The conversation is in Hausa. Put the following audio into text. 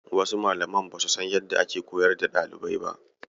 Wasu Malaman basu san yadda ake koyar da ɗalibai ba.